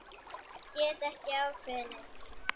Gat ekki ákveðið neitt.